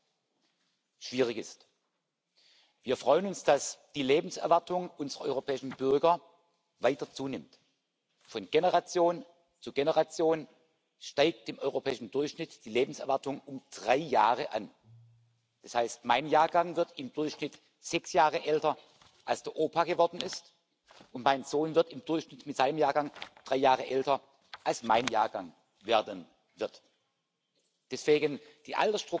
a 1.9 million decrease in the number of old people at risk of poverty or social exclusion since 2008 in the EU, despite growing life expectancy. Despite these improvements, there is no room for complacency, as was rightly highlighted by the 2018 Pension Adequacy Report endorsed by the Council in June this year. The European